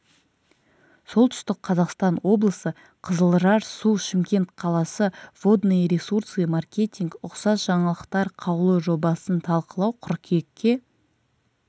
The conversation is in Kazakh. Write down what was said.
солтүстік қазақстан облысы қызылжар су шымкент қаласы водные ресурсы маркетинг ұқсас жаңалықтар қаулы жобасын талқылау қыркүйекке